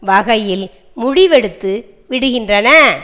வகையில் முடிவெடுத்து விடுகின்றன